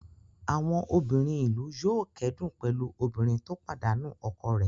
Àwọn obìnrin ìlú yóò kẹ́dùn pẹ̀lú obìnrin tó pàdánù ọkọ rẹ̀.